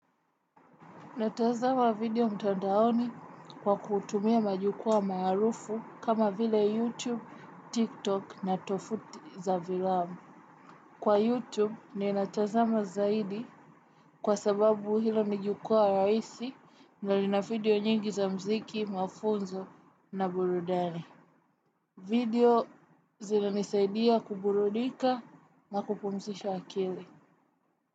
Natazama video mtandaoni kwa kutumia majukwaa maarufu kama vile YouTube, TikTok na tovuti za fiilamu. Kwa YouTube ninatazama zaidi kwa sababu hilo ni jukwaa rahisi na lina video nyingi za muziki mafunzo na burudani. Video zinanisaidia kuburudika na kupumzisha akili.